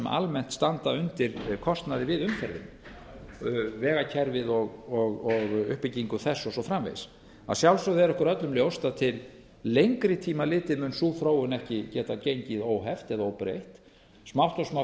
almennt standa undir kostnaði við umferðina vegakerfið og uppbyggingu þess og svo framvegis að sjálfsögðu er okkur öllum ljóst að til lengri tíma litið mun sú þróun ekki geta gengið óheft eða óbreytt smátt og smátt verður